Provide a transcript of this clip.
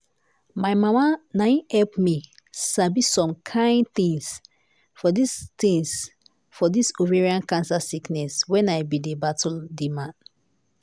my mama na im help me sabi some kine tins for dis tins for dis ovarian cancer sickness when i bin dey battle di am.